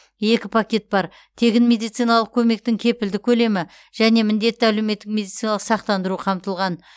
екі пакет бар тегін медициналық көмектің кепілді көлемі және міндетті әлеуметтік медициналық сақтандыру қамтылған